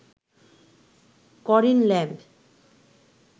করেন ল্যাম্ব